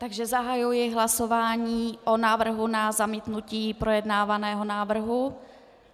Takže zahajuji hlasování o návrhu na zamítnutí projednávaného návrhu.